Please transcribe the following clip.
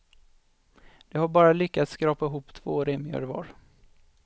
De har bara lyckats skrapa ihop två remier var.